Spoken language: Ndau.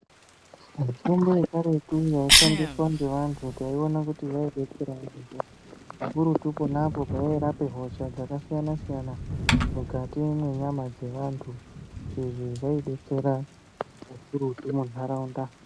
Mitombo yekaretu yaishandiswa ngevanhu taiwona kuti yaidetsera yaamho, zvikurutu ponapo payai rapa hosha dzakasiyana siyana mukati mwenyama dzevantu. Izvi zvaidetsera kakurutu munharaunda.